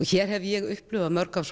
hér hef ég upplifað mörg af